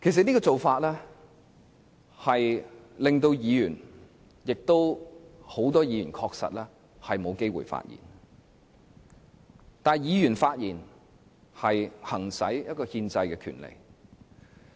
這種做法確實令很多議員沒有機會發言，但議員發言是行使其憲制權力。